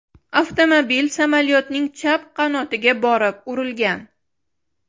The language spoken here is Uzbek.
Avtomobil samolyotning chap qanotiga borib urilgan.